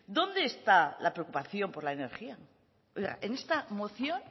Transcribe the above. dónde está la preocupación por la energía oiga en esta moción